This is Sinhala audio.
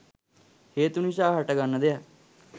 හේතු නිසා හට ගන්න දෙයක්.